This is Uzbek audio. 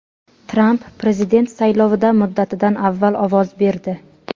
Tramp prezident saylovida muddatidan avval ovoz berdi.